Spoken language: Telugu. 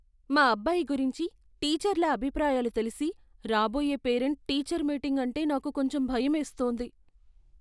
మా అబ్బాయి గురించి టీచర్ల అభిప్రాయాలు తెలిసి, రాబోయే పేరెంట్ టీచర్ మీటింగ్ అంటే నాకు కొంచెం భయమేస్తోంది.